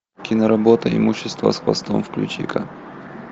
киноработа имущество с хвостом включи ка